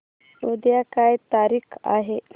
उद्या काय तारीख आहे